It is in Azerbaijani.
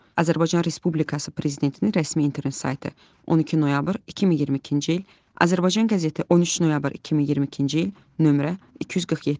Azərbaycan Respublikası Prezidentinin rəsmi internet saytı, 12 noyabr 2022-ci il, Azərbaycan qəzeti 13 noyabr 2022-ci il, nömrə 247.